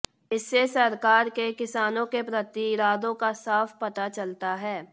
इससे सरकार के किसानों के प्रति इरादों का साफ पता चलता है